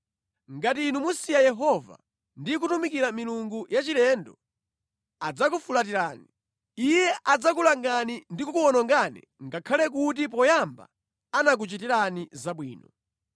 Ngati inu musiya Yehova ndi kutumikira milungu yachilendo, adzakufulatirani. Iye adzakulangani ndi kukuwonongani ngakhale kuti poyamba anakuchitirani zabwino.”